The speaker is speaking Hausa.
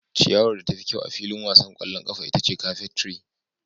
Ciyawar da tafi kyau a filin wasan ƙwallon ƙafa ita ce carpet tree.